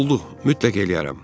Oldu, mütləq eləyərəm.